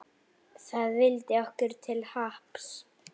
Það vildi okkur til happs.